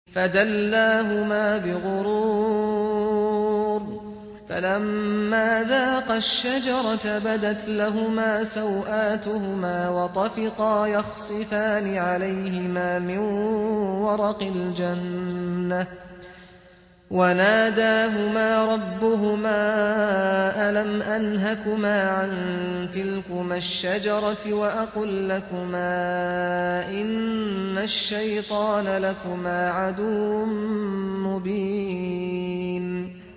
فَدَلَّاهُمَا بِغُرُورٍ ۚ فَلَمَّا ذَاقَا الشَّجَرَةَ بَدَتْ لَهُمَا سَوْآتُهُمَا وَطَفِقَا يَخْصِفَانِ عَلَيْهِمَا مِن وَرَقِ الْجَنَّةِ ۖ وَنَادَاهُمَا رَبُّهُمَا أَلَمْ أَنْهَكُمَا عَن تِلْكُمَا الشَّجَرَةِ وَأَقُل لَّكُمَا إِنَّ الشَّيْطَانَ لَكُمَا عَدُوٌّ مُّبِينٌ